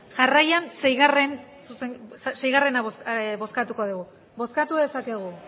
jarraian seigarrena bozkatuko dugu bozkatu dezakegu